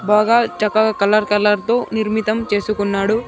బాగా చక్కగా కలర్-కలర్ తో నిర్మితం చేసుకున్నాడు.